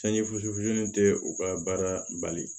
Sanji fusunen tɛ u ka baara bali